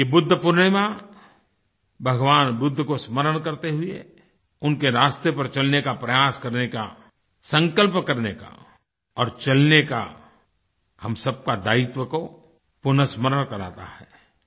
यह बुद्ध पूर्णिमा भगवान बुद्ध को स्मरण करते हुए उनके रास्ते पर चलने का प्रयास करने का संकल्प करने का और चलने का हम सबके दायित्व को पुनस्मरण कराता है